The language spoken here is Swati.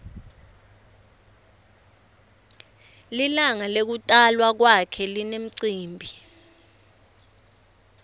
lilangalekutalwa kwakhe linemcimbi